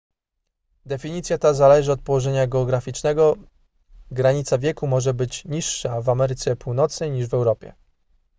definicja ta zależy od położenia geograficznego granica wieku może być niższa w ameryce północnej niż w europie